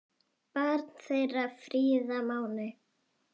Barn þeirra Fríða Máney.